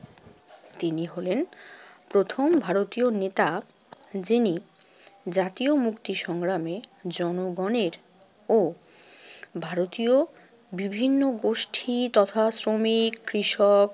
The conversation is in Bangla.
তিনি হলেন প্রথম ভারতীয় নেতা যিনি জাতীয় মুক্তি সংগ্রামে জনগণের ও ভারতীয় বিভিন্ন গোষ্ঠী তথা শ্রমিক, কৃষক